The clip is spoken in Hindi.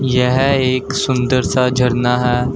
यह एक सुंदर सा झरना है।